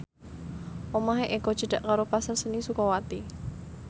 omahe Eko cedhak karo Pasar Seni Sukawati